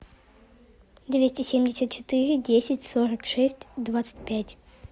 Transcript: двести семьдесят четыре десять сорок шесть двадцать пять